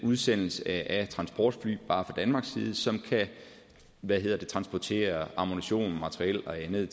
udsendelse af transportfly bare fra danmarks side som kan transportere ammunition materiel og andet